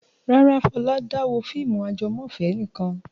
Rárá, Fọlá dá wo fíìmù ajẹmọ́fẹ̀ẹ́ nìkan.